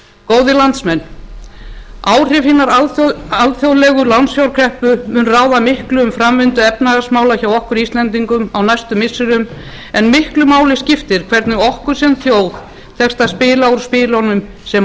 góðir landsmenn áhrif hinnar alþjóðlegu lánsfjárkreppu mun ráða miklu um framvindu efnahagsmála hjá okkur íslendingum á næstu missirum en miklu máli skiptir hvernig okkur sem þjóð tekst að spila úr spilunum sem á